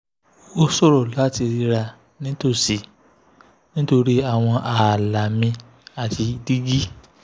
ó ṣòro láti ríra nítòsí nítorí àwọn ààlà mi àti dígí